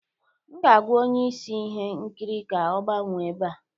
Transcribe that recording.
M ga-agwa onye isi ihe nkiri ka ọ gbanwee ebe a